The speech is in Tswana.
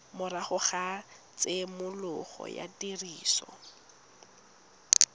morago ga tshimologo ya tiriso